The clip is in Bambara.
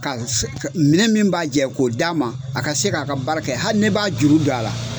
Ka se minɛ min b'a jɛ k'o d'a ma a ka se k'a ka baara kɛ hali ne b'a juru don a la.